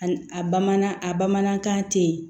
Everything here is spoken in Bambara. A bamanan a bamanankan tɛyi